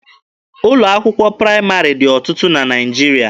Ụlọ akwụkwọ praịmarị dị ọtụtụ na Naịjirịa.